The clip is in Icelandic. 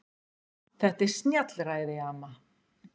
Þetta er snjallræði amma.